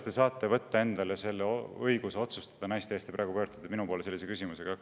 Te praegu pöördusite minu poole küsimusega, et kuidas me saame võtta endale õiguse otsustada naiste eest.